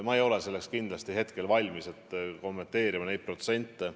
Ma ei ole selleks valmis, et kommenteerida neid protsente.